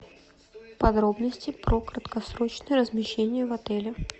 подробности про краткосрочное размещение в отеле